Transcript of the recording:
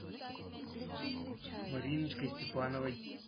мариночкой степановой